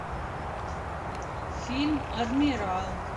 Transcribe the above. фильм адмирал